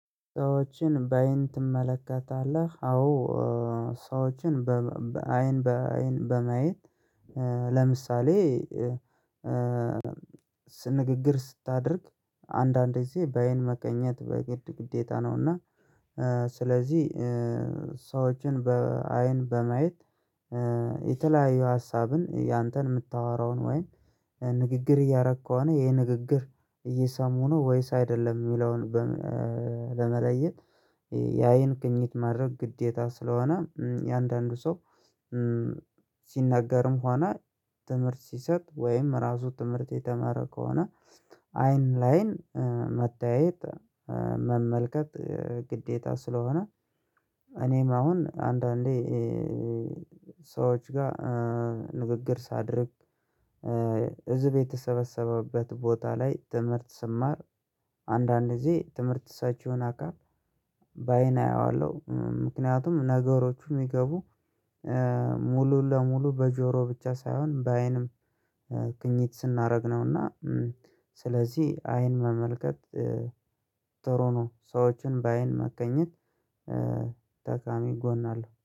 ሰዎችን በአይን ትመለከታለህ? አዎ። ሰዎችን በአይን በአይን በማየት። ለምሳሌ ንግግር ስታደርግ አንዳንዴ ጊዜ በአይን መገኘት በግድ ግዴታ ነውና። ስለዚህ ሰዎችን በአይን በማየት የተለያዩ ሀሳብን ያንተን የምታወራውን ወይም ንግግር እያረክ ከሆነ ይሄ ንግግር እየሰሙ ነው ወይስ አይደለም የሚለውን። ለመለየት የአይን ግኝት ማድረግ ግዴታ ስለሆነ የአንዳንዱ ሰው። ሲናገርም ሆነ ትምህርት ሲሰጥ ወይም ራሱ ትምህርት የተማረ ከሆነ አይን ለአይን መተያየት መመልከት ግዴታ ስለሆነ። እኔም አሁን አንዳንዴ ሰዎች ጋር ንግግር ሳደርግ ህዝብ የተሰበሰበበት ቦታ ላይ ትምህርት ስማር። የተለያዩ ሀሳብን ያንተን የምታወራውን ወይም ንግግር እያረክ ከሆነ ይሄ ንግግር እየሰሙ ነው ወይስ አይደለም የሚለውን ለመለየት የአይን ግኝት ማድረግ ግዴታ ስለሆነ የአንዳንዱ ሰው